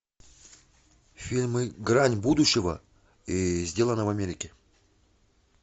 фильмы грань будущего и сделано в америке